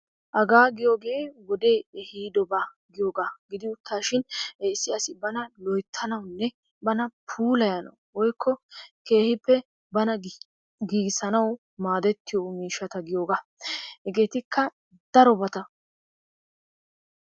Hagaa giyogee wodee ehiidobaa giyogaa gidi uttaashin issi asi bana loyttanawunne bana puulayanawu woykko keehippe bana giigissanawu maadettiyo miishshata giyogaa. Hegeetikka darobata.